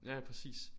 Ja ja præcis